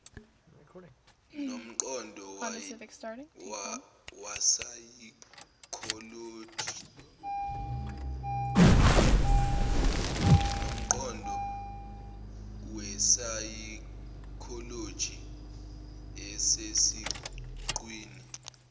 nomqondo wesayikholoji osesiqwini